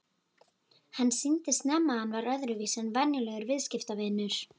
Hann sýndi snemma að hann var öðruvísi en venjulegur viðskiptavinur.